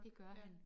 Ja